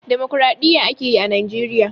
Damokraɗiyya a ke yi a Najeriya.